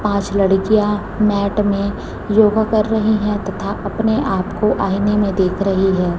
पांच लड़कियां मैट में योगा कर रही है तथा अपने आप को आईने में देख रही है।